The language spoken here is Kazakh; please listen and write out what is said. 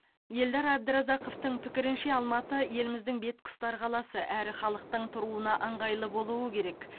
елдар әбдіразақовтың пікірінше алматы еліміздің бетке ұстар қаласы әрі халықтың тұруына ыңғайлы болуы керек